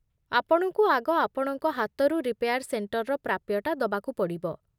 ଆପଣଙ୍କୁ ଆଗ ଆପଣଙ୍କ ହାତରୁ ରିପେୟାର୍ ସେଣ୍ଟର୍‌ର ପ୍ରାପ୍ୟଟା ଦବାକୁ ପଡ଼ିବ ।